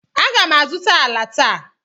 M ga-azụta ala taa.